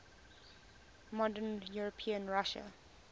modern european russia